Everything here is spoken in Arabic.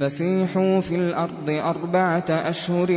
فَسِيحُوا فِي الْأَرْضِ أَرْبَعَةَ أَشْهُرٍ